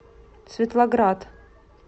светлоград